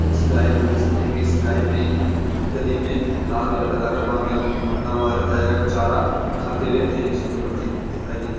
इस गाय पे हम देख सकते है कि इस गाय ने गले में लाल कलर का धागा बाँधा हुआ है तथा ये चारा खाते हुए अतित सुन्दर प्रतित दिखाई देती है |